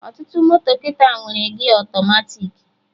Ọtụtụ moto kịta nwere gia ọtọmatiki